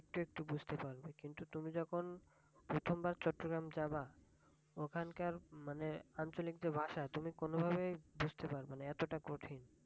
হ্যাঁ হ্যাঁ একটু একটু বুঝতে পাড়বে। কিন্তু তুমি যখন প্রথমবার চট্রগ্রাম যাবে ওখানকার আঞ্চলিক যে ভাষা মানে তুমি কোনভাবেই বুঝতে পাড়বেনা। এতটাই কঠিন